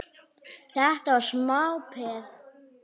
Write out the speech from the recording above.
Þetta var smá peð!